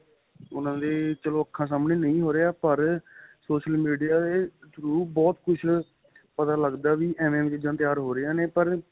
ਉਹਨਾ ਦੇ ਚਲੋ ਅੱਖਾਂ ਸਾਹਮਣੇ ਨਹੀਂ ਹੋ ਰਹਿਆ ਪਰ social media ਦੇ throw ਬਹੁਤ ਕੁੱਛ ਪਤਾ ਲੱਗਦਾ ਵੀ ਐਵੇ ਐਵੇ ਚੀਜਾਂ ਤਿਆਰ ਹੋ ਰਈਆ ਨੇ